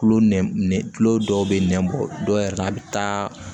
Tulo nɛ dɔw be nɛn bɔ dɔw yɛrɛ a be taa